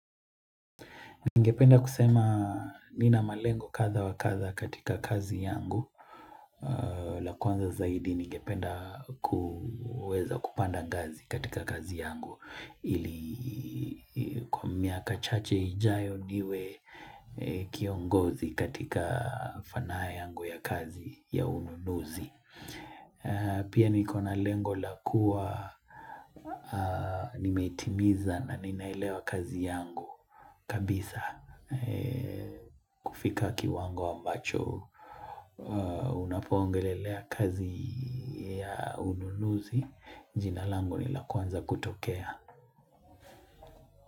Ningependa kusema nina malengo kadha wa kadha katika kazi yangu. La kwanza zaidi ningependa kuweza kupanda gazi katika kazi yangu. Ili kwa miaka chache hijayo niwe kiongozi katika fanaye yangu ya kazi ya ununuzi. Pia nikona lengo lakua nimetimiza na ninailewa kazi yangu. Kabisa kufika kiwango ambacho Unapongelelea kazi ya ununuzi Jinalango nila kwanza kutokea.